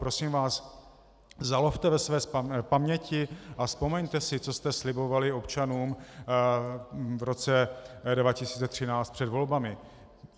Prosím vás, zalovte ve své paměti a vzpomeňte si, co jste slibovali občanům v roce 2013 před volbami.